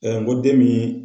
n ko den min